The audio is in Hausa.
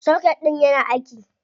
Soket ɗIn yana aiki.